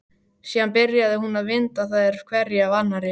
Síðan byrjaði hún að vinda þær hverja af annarri.